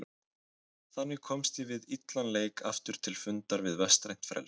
Þannig komst ég við illan leik aftur til fundar við vestrænt frelsi.